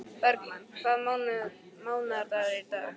Bergmann, hvaða mánaðardagur er í dag?